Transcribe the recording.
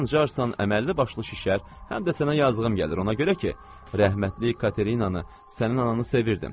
Sancarsan əməlli başlı şişər, həm də sənə yazığım gəlir ona görə ki, rəhmətlik Katerinanı sənin ananı sevirdim.